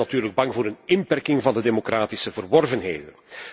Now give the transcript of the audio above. Zij zijn natuurlijk bang voor een inperking van de democratische verworvenheden.